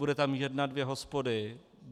Bude tam jedna, dvě hospody.